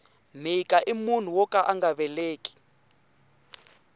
mhika i munhu woka anga veleki